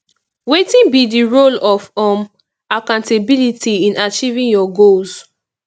wetin be di role of um accountability in achieving your goals